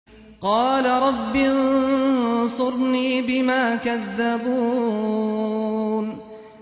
قَالَ رَبِّ انصُرْنِي بِمَا كَذَّبُونِ